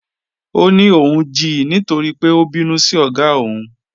Ọ ní óun jí nítorí pé ó bínú sí ogá ọ́ún.